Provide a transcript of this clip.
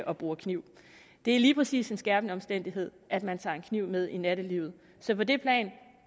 og bruger kniv det er lige præcis en skærpende omstændighed at man tager en kniv med i nattelivet så på det plan